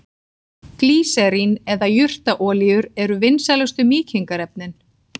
Glýserín eða jurtaolíur eru vinsælustu mýkingarefnin.